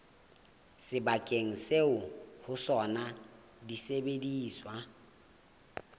sebakeng seo ho sona disebediswa